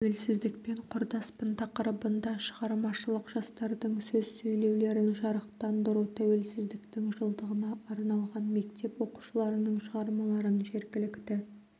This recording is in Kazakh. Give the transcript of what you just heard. тәуелсіздікпен құрдаспын тақырыбында шығармашылық жастардың сөз сөйлеулерін жарықтандыру тәуелсіздіктің жылдығына арналған мектеп оқушыларының шығармаларын жергілікті